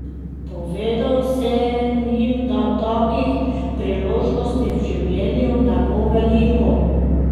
Povedal sem jim, da takih priložnosti v življenju ne bo veliko.